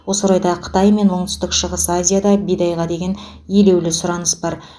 осы орайда қытай мен оңтүстік шығыс азияда бидайға деген елеулі сұраныс бар